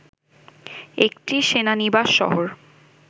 একটি সেনানিবাস শহর